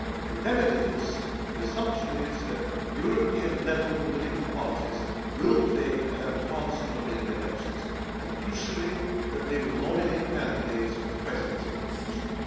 To remedy this, the assumption is that European level political parties will play an enhanced role in the elections and crucially that they will nominate candidates for the presidency of the Commission.